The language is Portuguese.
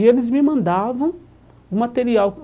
E eles me mandavam o material.